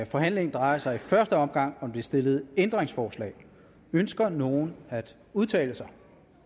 forhandlingen drejer sig i første omgang om det stillede ændringsforslag ønsker nogen at udtale sig